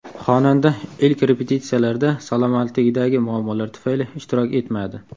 Xonanda ilk repetitsiyalarda salomatligidagi muammolar tufayli ishtirok etmadi.